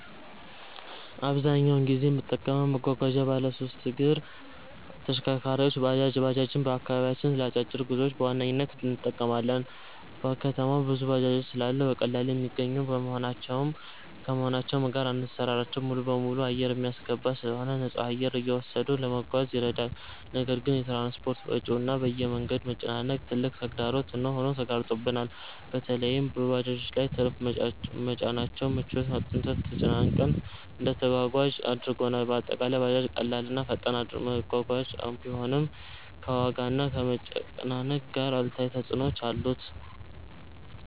አብዛኛውን ጊዜ የምጠቀመው መጓጓዣ ባለሶስት እግር ተሽከርካሪ(ባጃጅ) ነው። ባጃጅን በአከባቢያችን ለ አጫጭር ጉዞ በዋነኝነት እንጠቀማለን። በከተማው ብዙ ባጃጆች ስላሉ በቀላሉ የሚገኙ ከመሆናቸውም ጋር አሰራራቸው ሙሉበሙሉ አየር የሚያስገባ ስለሆነ ንፁህ አየር እየወሰዱ ለመጓዝ ይረዳል። ነገር ግን የ ትራንስፖርት ወጪው እና የ መንገድ መጨናነቅ ትልቅ ተግዳሮት ሆኖ ተጋርጦብናል። በለይም በባጃጆች ላይ ትርፍ መጫናቸው ምቾት አጥተንና ተጨናንቀን እንድንጓጓዝ አድርጎናል። በአጠቃላይ ባጃጅ ቀላል እና ፈጣን መጓጓዣ ቢሆንም፣ ከዋጋና ከመጨናነቅ ጋር አሉታዊ ተፅዕኖዎች አሉት።